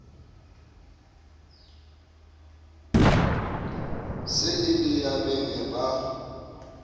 se e le yabeng ba